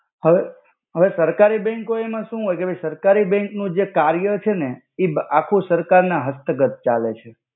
હવે હવે સરકારી બેંકો એમા સુ હોય કે ભઈ સરકારી બેંક નુ જે કાઇ કાર્યો છેને એ બ આખુ સરકાર ના હસ્તગત ચાલે છે.